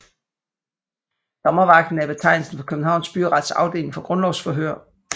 Dommervagten er betegnelsen for Københavns Byrets afdeling for grundlovsforhør